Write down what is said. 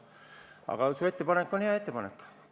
Aga su ettepanek on hea ettepanek.